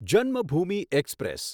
Janmabhoomi express